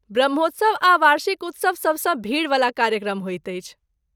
ब्रह्मोत्सव आ वार्षिक उत्सव सबसँ भीड़वला कार्यक्रम होइत अछि।